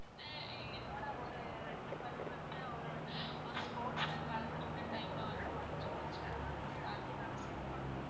வந்து என்னோட ஒரு ரெண்டு பல்லு வந்து ஒரு sports ல கலந்துகிட்ட time ல வந்து ஒடஞ்சி போச்சி அது வந்து அத நான set பண்ணனும்.